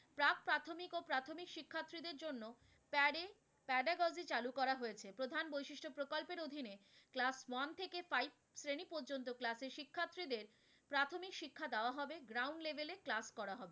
pedagogy চালু করা হয়েছে, প্রধান বৈশিষ্ট্য প্রকল্পের অধীনে class one থেকে five শ্রেণি পর্যন্ত class এ শিক্ষার্থী দের প্রাথমিক শিক্ষা দেওয়া হবে, ground level এ class করা হবে।